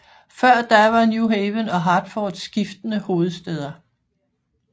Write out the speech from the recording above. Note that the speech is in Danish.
Før da var New Haven og Hartford skiftende hovedstæder